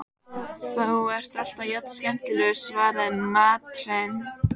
Þú ert alltaf jafn skemmtilegur, svaraði Marteinn.